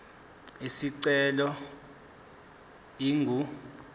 isicelo ingu r